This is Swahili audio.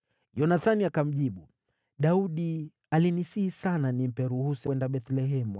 Yonathani akamjibu, “Daudi alinisihi sana nimpe ruhusa aende Bethlehemu.